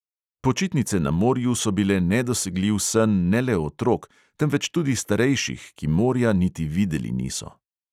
Počitnice na morju so bile nedosegljiv sen ne le otrok, temveč tudi starejših, ki morja niti videli niso.